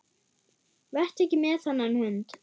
Vertu ekki með þennan hund.